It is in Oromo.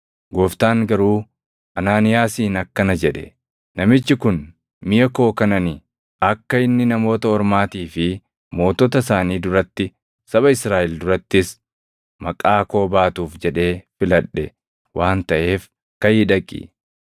Gooftaan garuu Anaaniyaasiin akkana jedhe; “Namichi kun miʼa koo kan ani akka inni namoota Ormaatii fi mootota isaanii duratti, saba Israaʼel durattis maqaa koo baatuuf jedhee filadhe waan taʼeef kaʼii dhaqi!